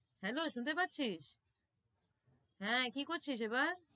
Hello শুনতে পারছিস হেঁ, কি করছিস এবার,